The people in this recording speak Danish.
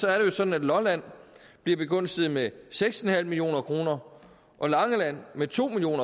er det sådan at lolland bliver begunstiget med seks million kroner og langeland med to million